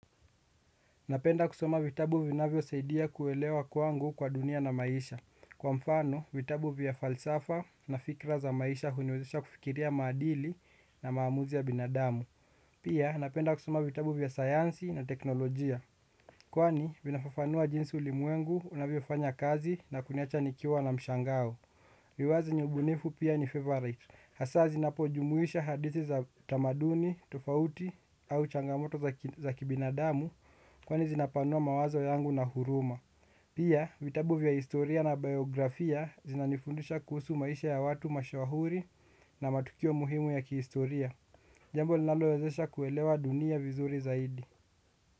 Napenda kusoma vitabu vinavyo saidia kuelewa kwangu kwa dunia na maisha. Kwa mfano, vitabu vya falsafa na fikra za maisha huniweza kufikiria madili na maamuzi ya binadamu. Pia, napenda kusoma vitabu vya sayansi na teknolojia. Kwani, vinafafanua jinsi ulimwengu unavyo fanya kazi na kuniacha nikiwa na mshangao. Liwazi ni ubunifu pia ni favorite. Hasa zinapojumuisha hadithi za tamaduni, tofauti au changamoto za kibinadamu kwani zinapanua mawazo yangu na huruma. Pia vitabu vya historia na biografia zinanifundisha kuhusu maisha ya watu mashwahuri na matukio muhimu ya kihistoria. Jambo linalowezesha kuelewa dunia vizuri zaidi.